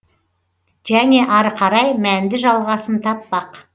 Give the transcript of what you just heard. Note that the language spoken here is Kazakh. және ары қарай мәнді жалғасын таппақ